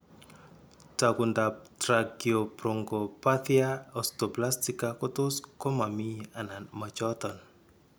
Taakuntaab tracheobronchopathia osteoplastica kotos komami anan machooton.